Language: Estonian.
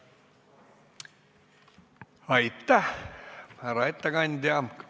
Aitäh, härra ettekandja!